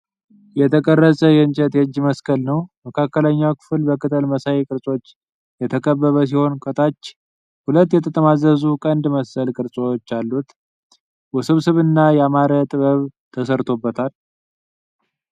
የተቀረጸ የእንጨት የእጅ መስቀል ነው። መካከለኛው ክፍል በቅጠል መሳይ ቅርጾች የተከበበ ሲሆን ከታች ሁለት የተጠማዘዙ ቀንድ መሰል ቅርጾች አሉት። ውስብስብና ያማረ ጥበብ ተሰርቶበታል።